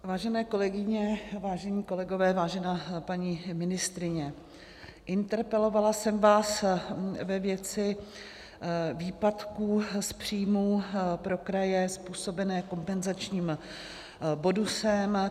Vážené kolegyně, vážení kolegové, vážená paní ministryně, interpelovala jsem vás ve věci výpadků z příjmů pro kraje způsobené kompenzačním bonusem.